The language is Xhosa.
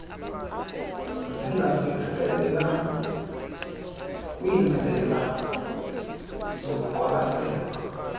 zingabhekiselela kwiindlela zokuqwalaselwa